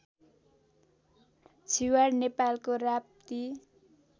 छिवाड नेपालको राप्ती